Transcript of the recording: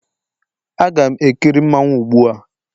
Aga m ekiri mmanwu gbu a